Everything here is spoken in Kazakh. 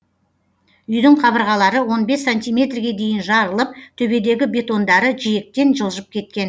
үйдің қабырғалары он бес сантимерге дейін жарылып төбедегі бетондары жиектен жылжып кеткен